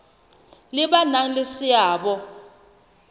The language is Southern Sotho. le ba nang le seabo